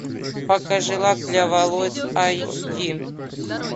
покажи лак для волос айч ди